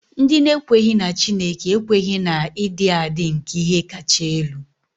Ndị na-ekweghị na Chineke ekweghị na ịdị adị nke ihe kacha elu.